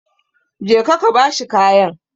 Go and give him the cloth!